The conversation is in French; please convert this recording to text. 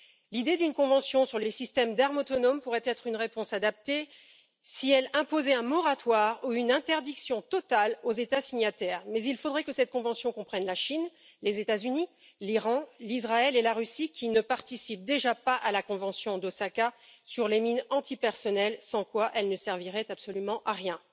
L'idée d'une convention sur les systèmes d'armes autonomes pourrait être une réponse adaptée, si elle imposait un moratoire ou une interdiction totale aux États signataires, mais il faudrait que cette convention comprenne la Chine, les États Unis, l'Iran, l'Israël et la Russie, qui ne participent déjà pas à la convention d'Osaka sur les mines antipersonnel, sans quoi elle ne servirait absolument à rien.